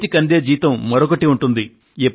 చేతికి అందే జీతం మరొకటి ఉంటుంది